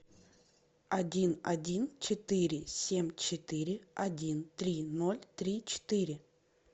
один один четыре семь четыре один три ноль три четыре